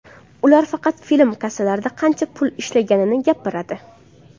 Ular faqat film kassalarda qancha pul ishlaganini gapiradi.